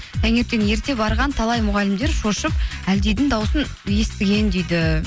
таңертең ерте барған талай мұғалімдер шошып әлдидің дауысын естіген дейді